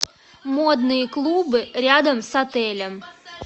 модные клубы рядом с отелем